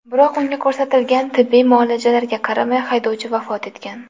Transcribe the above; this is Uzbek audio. Biroq unga ko‘rsatilgan tibbiy muolajalarga qaramay, haydovchi vafot etgan.